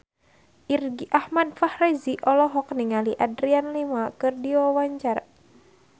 Irgi Ahmad Fahrezi olohok ningali Adriana Lima keur diwawancara